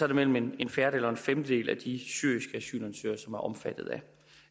mellem en en fjerdedel og en femtedel af de syriske omfattet